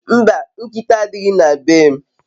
Mba, nkita adighi na be m